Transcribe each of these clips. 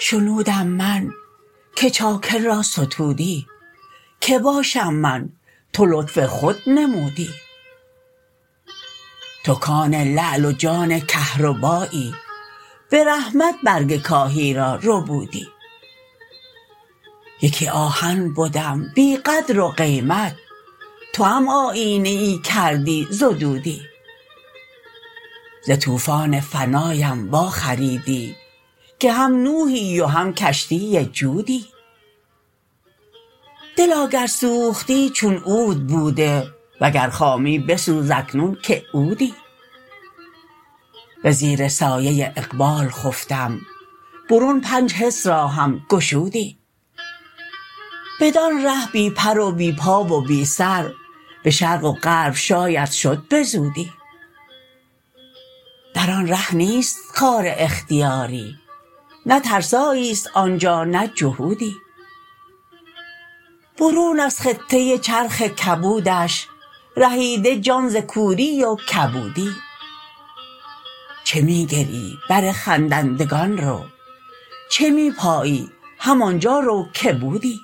شنودم من که چاکر را ستودی کی باشم من تو لطف خود نمودی تو کان لعل و جان کهربایی به رحمت برگ کاهی را ربودی یکی آهن بدم بی قدر و قیمت توام آیینه ای کردی زدودی ز طوفان فناام واخریدی که هم نوحی و هم کشتی جودی دلا گر سوختی چون عود بوده وگر خامی بسوز اکنون که عودی به زیر سایه اقبال خفتم برون پنج حس راهم گشودی بدان ره بی پر و بی پا و بی سر به شرق و غرب شاید شد به زودی در آن ره نیست خار اختیاری نه ترسایی است آن جا نه جهودی برون از خطه چرخ کبودش رهیده جان ز کوری و کبودی چه می گریی بر خندندگان رو چه می پایی همان جا رو که بودی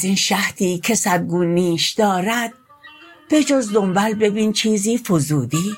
از این شهدی که صد گون نیش دارد بجز دنبل ببین چیزی فزودی